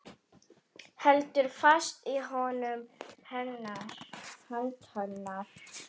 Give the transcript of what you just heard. Heldur fast í hönd hennar.